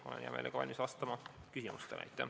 Olen hea meelega valmis vastama küsimustele.